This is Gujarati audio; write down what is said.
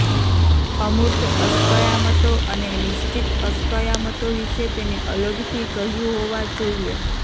અમૂર્ત અસ્કયામતો અને નિશ્ચિત અસ્કયામતો વિશે તેને અલગથી કહ્યું હોવા જોઈએ